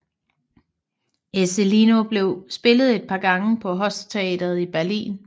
Ezzelino blev spillet et par gange på hofteatret i Wien